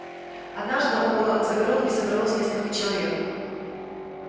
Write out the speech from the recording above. однажды около загородки собралось несколько человек